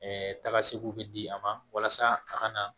taa segu bɛ di a ma walasa a ka na